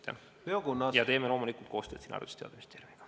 Ja loomulikult teeme koostööd Haridus- ja Teadusministeeriumiga.